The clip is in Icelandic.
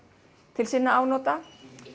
til sinna afnota